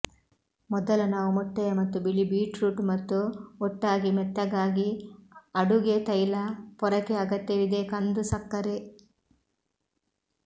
ಮೊದಲ ನಾವು ಮೊಟ್ಟೆಯ ಮತ್ತು ಬಿಳಿ ಬೀಟ್ರೂಟ್ ಮತ್ತು ಒಟ್ಟಾಗಿ ಮೆತ್ತಗಾಗಿ ಅಡುಗೆ ತೈಲ ಪೊರಕೆ ಅಗತ್ಯವಿದೆ ಕಂದು ಸಕ್ಕರೆ